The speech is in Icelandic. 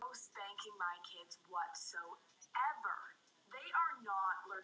Svo getur þetta snúist við.